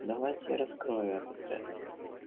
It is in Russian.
давайте я раскрою этот ряд